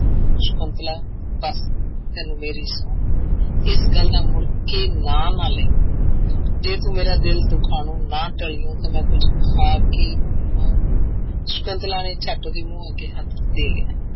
ਸਕੁੰਤਲਾ ਬਸ ਤੈਨੂੰ ਮੇਰੀ ਸਹੁੰ ਇਸ ਗੱਲ ਦਾ ਮੁੜ ਕੇ ਕੋਈ ਨਾਂ ਨਾ ਲਈ ਜੇ ਤੂੰ ਮੇਰਾ ਦਿਲ ਦੁਖਾਉਣੋ ਨਾ ਟਲੀਓ ਤਾਂ ਮੈਂ ਕੁੱਝ ਖਾ ਕੇ ਮ ਸਕੁੰਤਲਾ ਨੇ ਝੱਟ ਉਹਦੇ ਮੂੰਹ ਅੱਗੇ ਹੱਥ ਦੇ ਲਿਆ,